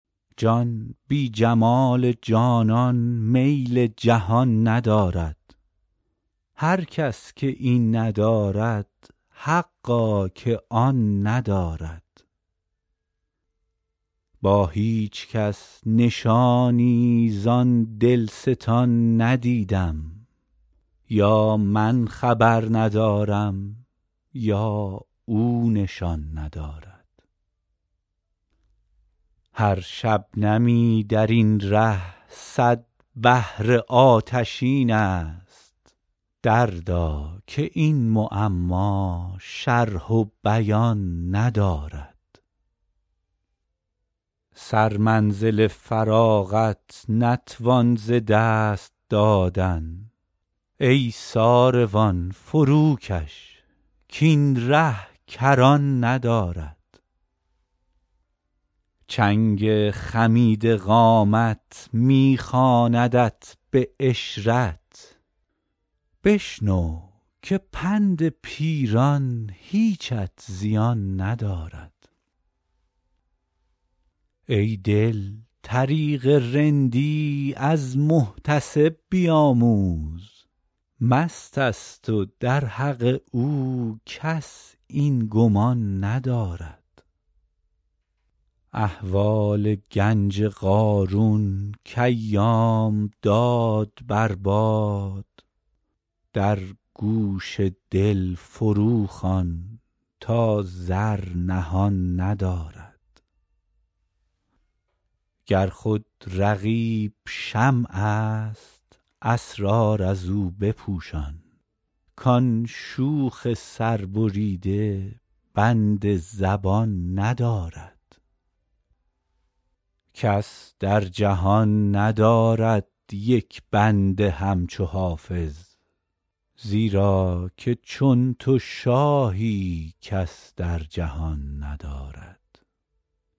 جان بی جمال جانان میل جهان ندارد هر کس که این ندارد حقا که آن ندارد با هیچ کس نشانی زان دلستان ندیدم یا من خبر ندارم یا او نشان ندارد هر شبنمی در این ره صد بحر آتشین است دردا که این معما شرح و بیان ندارد سرمنزل فراغت نتوان ز دست دادن ای ساروان فروکش کاین ره کران ندارد چنگ خمیده قامت می خواندت به عشرت بشنو که پند پیران هیچت زیان ندارد ای دل طریق رندی از محتسب بیاموز مست است و در حق او کس این گمان ندارد احوال گنج قارون کایام داد بر باد در گوش دل فروخوان تا زر نهان ندارد گر خود رقیب شمع است اسرار از او بپوشان کان شوخ سربریده بند زبان ندارد کس در جهان ندارد یک بنده همچو حافظ زیرا که چون تو شاهی کس در جهان ندارد